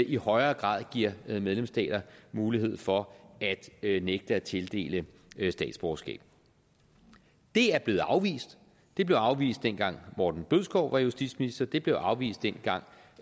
i højere grad giver medlemsstater mulighed for at nægte at tildele statsborgerskab det er blevet afvist det blev afvist dengang morten bødskov var justitsminister det blev afvist dengang